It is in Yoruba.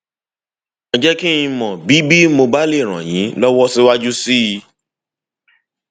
ẹ jẹ kí n mọ bí bí mo bá lè ràn yín lọwọ síwájú sí i